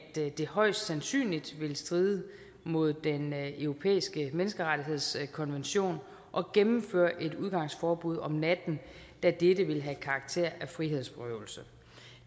det højst sandsynligt ville stride mod den europæiske menneskerettighedskonvention at gennemføre et udgangsforbud om natten da dette ville have karakter af frihedsberøvelse